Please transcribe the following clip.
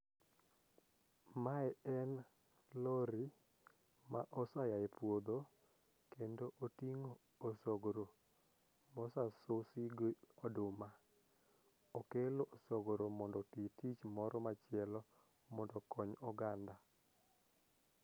Mae en lori ma osayaye puodho kendo oting'o osogro mosasusi gi oduma okelo osogro mondo oti tich moro machielo mondo okony oganda.